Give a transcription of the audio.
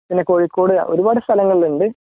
പിന്നേ കോഴിക്കോട് ഒരുപാട് സ്ഥലങ്ങളുണ്ട്